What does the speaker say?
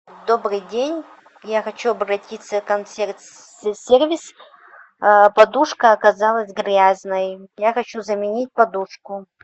добрый день я хочу обратиться в консьерж сервис подушка оказалась грязной я хочу заменить подушку